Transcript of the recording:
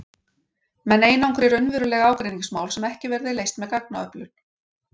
Menn einangri raunveruleg ágreiningsmál sem ekki verði leyst með gagnaöflun.